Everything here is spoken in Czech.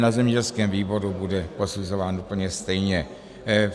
Na zemědělském výboru bude posuzován úplně stejně.